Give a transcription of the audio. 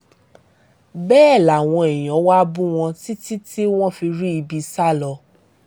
bẹ́ẹ̀ làwọn èèyàn wá bú wọn títí tí wọ́n fi rí ibi sá lọ